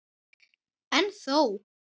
En þó.